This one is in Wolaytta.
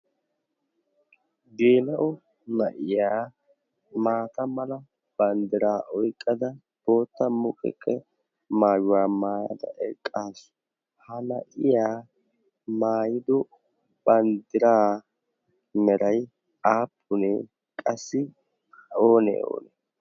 gela'o na'iyaa maata mala banddiraaoiqqada bootta muqeqqe maayuwaa maayada eqqaasu. ha na'iyaa maayido banddiraa nerai aappunee qassi oonee oone?